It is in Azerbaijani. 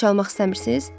Daha çalmaq istəmirsiz?